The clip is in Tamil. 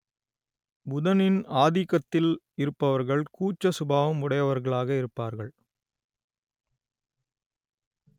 புதனின் ஆதிக்கத்தில் இருப்பவர்கள் கூச்ச சுபாவம் உடையவர்களாக இருப்பார்கள்